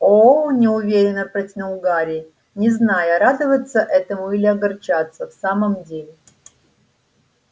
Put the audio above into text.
о-о неуверенно протянул гарри не зная радоваться этому или огорчаться в самом деле